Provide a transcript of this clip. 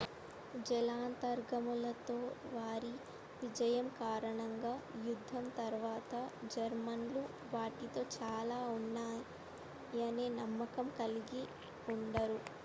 జలాంతర్గాములతో వారి విజయం కారణంగా యుద్ధం తరువాత జర్మన్లు వాటిలో చాలా ఉన్నాయనే నమ్మకాన్ని కలిగి ఉండరు